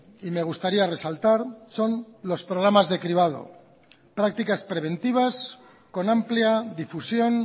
y me gustaría resaltar son los programas de cribado prácticas preventivas con amplia difusión